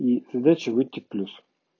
и задача выйти плюс